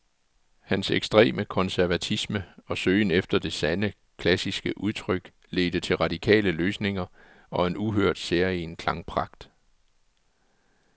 Hans ekstreme konservatisme og søgen efter det sande, klassiske udtryk ledte til radikale løsninger og en uhørt, særegen klangpragt.